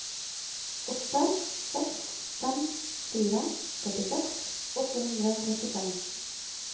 åtte seks fem fire førtiseks åtte hundre og trettifem